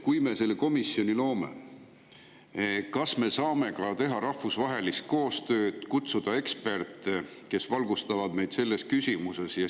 Kui me selle komisjoni loome, siis kas me saame teha rahvusvahelist koostööd ja kutsuda eksperte, kes valgustaksid meid selles küsimuses?